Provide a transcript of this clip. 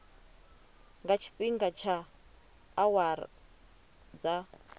nga tshifhinga tsha awara dza